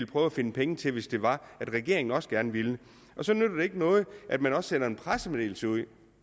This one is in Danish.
prøve at finde penge til hvis det var at regeringen også gerne ville så nytter det ikke noget at man sender en pressemeddelelse ud